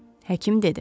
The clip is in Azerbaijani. Həkim dedi.